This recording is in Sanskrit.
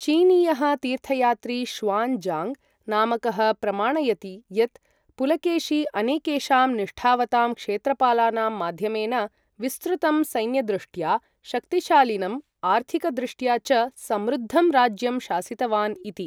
चीनीयः तीर्थयात्री ष़्वान् ज़ाङ्ग् नामकः प्रमाणयति यत् पुलकेशी अनेकेषां निष्ठावतां क्षेत्रपालानां माध्यमेन विस्तृतं, सैन्यदृष्ट्या शक्तिशालिनं, आर्थिकदृष्ट्या च समृद्धं राज्यं शासितवान् इति।